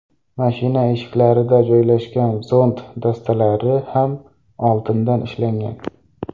Mashina eshiklarida joylashgan zont dastalari ham oltindan ishlangan.